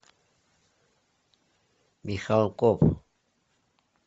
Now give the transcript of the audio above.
михалков